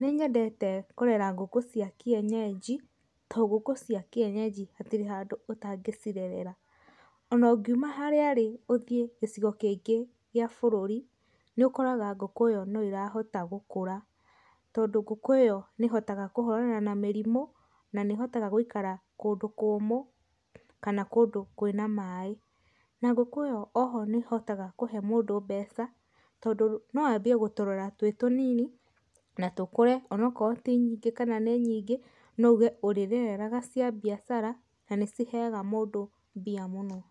Nĩnyendete kũrera ngũkũ cia kĩenyeji tondũ ngũkũ cia kĩenyeji hatirĩ handũ ũtangĩcirerera ona ũngithii harĩa uthii gĩcigo kĩngĩ gĩa bũrũri nĩũkoraga ngũkũ ĩyo noĩrahota gũkũra, tondũ ngũkũ ĩyo nĩ ĩhotaga kũhũrana na mĩrimo na nĩhota gũikara kũndũ kũmũ kana kũndũ kwĩna maĩ, na ngũkũ oho nĩhotaga kũhe mũndũ mbeca tondũ no athiĩ gũtũrora twĩ tũnini na tũkũre onaokorwa tĩ nyingĩ kana nĩ nyĩngĩ noũge ũroreraga cia biacara na nĩciheaga mũndũ mbia mũno.